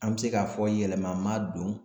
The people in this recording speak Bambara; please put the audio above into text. An bi se k'a fɔ yɛlɛma ma don